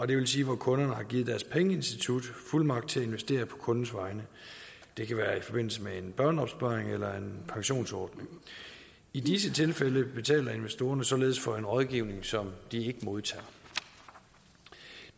det vil sige hvor kunderne har givet deres pengeinstitut fuldmagt til at investere på kundens vegne det kan være i forbindelse med en børneopsparing eller en pensionsordning i disse tilfælde betaler investorerne således for en rådgivning som de ikke modtager